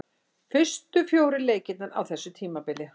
Fyrstu fjórir leikirnir á þessu tímabili.